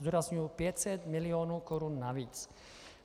Zdůrazňuji - 500 milionů korun navíc.